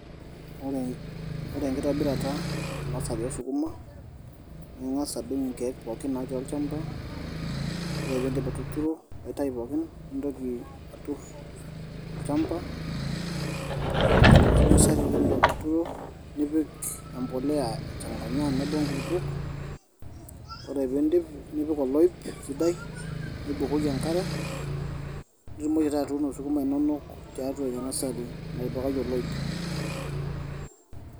Ore enkitobirata enasari oosukuma naa inga'as adung' inkiek pookin natii olnchampa, ore pee iidip atuturo aitau pookin nintoki aturr olnchampa aturr Ina kiti nasari ore pee iidip atuturo nipik empolea aichang'anya tenebo inkulupuok ore pee iidip nipik oloip sidai nipik enk'are nitumoki taa atuuno sukuma inonok tiatua Ina nasari naatipikaki oloip.